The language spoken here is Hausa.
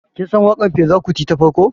Kin san waƙar Fela Kuti ta farko?